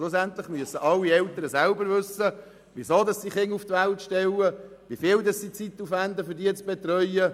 Schlussendlich müssen alle Eltern selber wissen, warum sie Kinder auf die Welt stellen und wie viel Zeit sie in die Betreuung investieren wollen.